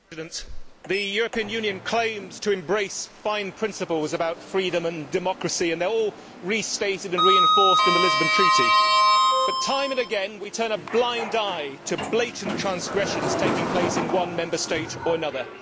Mr President, the European Union claims to embrace fine principles about freedom and democracy, and they are all restated and reinforced in the Lisbon Treaty, but time and again we turn a blind eye to blatant transgressions taking place in one Member State or another.